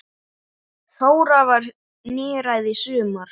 Þóra varð níræð í sumar.